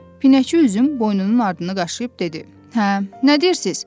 Pinəçi üzüm boynunun ardını qaşıyıb dedi: Hə, nə deyirsiz?